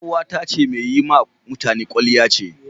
Yar uwata mai yi wa mutane kwalliya ce.